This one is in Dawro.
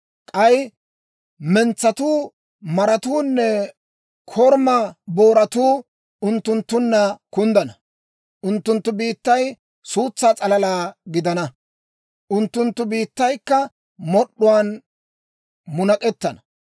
K'ay mentsatuu, maratuunne korumaa booratuu unttunttunna kunddana. Unttunttu biittay suutsaa s'alalaa gidana; unttunttu biittaykka mod'd'uwaan munak'ettana.